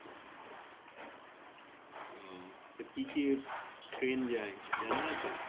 ও তো কী কী train যাই জানা আছে?